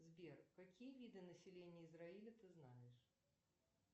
сбер какие виды населения израиля ты знаешь